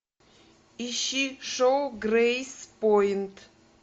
ищи шоу грейспойнт